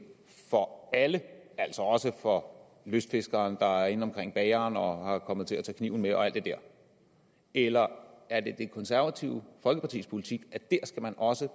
for alle altså også for lystfiskeren der er inde omkring bageren og kommet til at tage kniven med og alt det der eller er det det konservative folkepartis politik at der skal man også